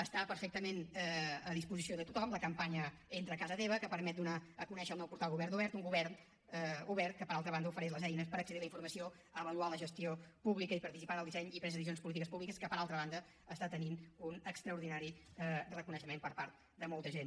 està perfectament a disposició de tothom la campanya entra a casa teva que permet donar a conèixer el nou portal govern obert un govern obert que per altra banda ofereix les eines per accedir a la informació avaluar la gestió pública i participar en el disseny i presa de decisions de polítiques públiques que per altra banda està tenint un extraordinari reconeixement per part de molta gent